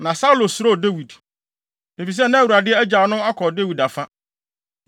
Na Saulo suro Dawid, efisɛ na Awurade agyaw no akɔ Dawid afa.